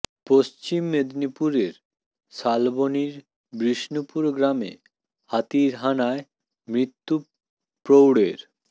পশ্চিম মেদিনীপুরের শালবনীর বিষ্ণুপুর গ্রামে হাতির হানায় মৃত্যু প্রৌঢ়ের